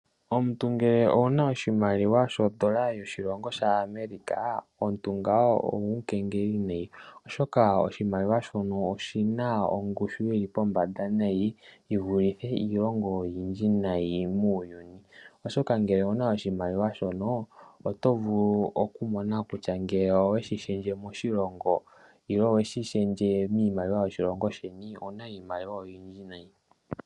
Omuntu ngele owuna oshimaliwa shoondola dhaAmerica omuntu ngawo omukengeli nayi. Oshoka oshimaliwa shoka oshina ongushu yili pombanda nayi. Yi vulithe iilongo oyindji nayi muuyuni. Oshoka ngele owu na oshimaliwa shono oto vulu ku mona kutya ngele oweshi shendje moshilongo nenge oweshi shendje miimaliwa yoshilongo shaandjeni owuna iimaliwa oyindji nayi.